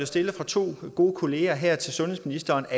stillet af to gode kollegaer her til sundhedsministeren at